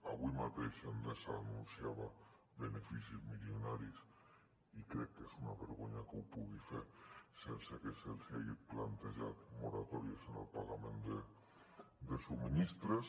avui mateix endesa anunciava beneficis milionaris i crec que és una vergonya que ho pugui fer sense que se’ls hagin plantejat moratòries en el pagament de subministraments